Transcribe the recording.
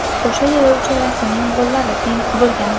O‘sha yili uchalasining gollari teng bo‘lgandi.